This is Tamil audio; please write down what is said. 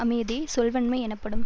அமைவதே சொல்வன்மை எனப்படும்